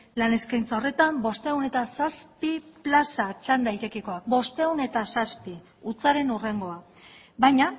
lan eskaintza horretan bostehun eta zazpi plaza txanda irekikoak bostehun eta zazpi hutsaren hurrengoa baina